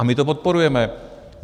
A my to podporujeme.